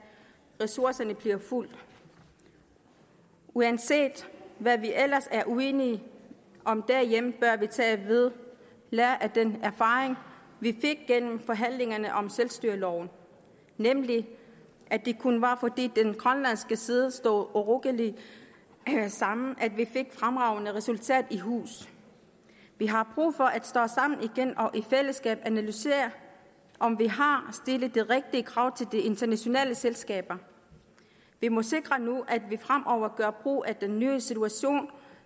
ressourcer bliver fulgt uanset hvad vi ellers er uenige om derhjemme bør vi tage ved lære af den erfaring vi fik gennem forhandlingerne om selvstyreloven nemlig at det kun var fordi den grønlandske side stod urokkeligt sammen at vi fik det fremragende resultat i hus vi har brug for at stå sammen igen og i fællesskab analysere om vi har stillet de rigtige krav til de internationale selskaber vi må sikre nu at vi fremover gør brug af den nye situation